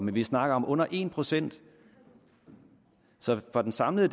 vi snakker om under en procent så for den samlede